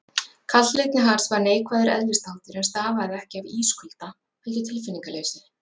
Kaldlyndi hans var neikvæður eðlisþáttur, en stafaði ekki af ískulda, heldur tilfinningaleysi.